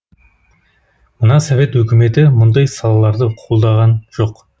мына совет үкіметі мұндай салаларды қолдаған жоқ